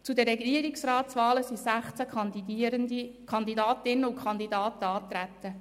Zu den Regierungsratswahlen sind 16 Kandidatinnen und Kandidaten angetreten.